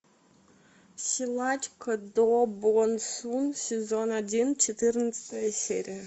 силачка до бон сун сезон один четырнадцатая серия